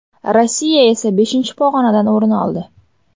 Rossiya esa beshinchi pog‘onadan o‘rin oldi.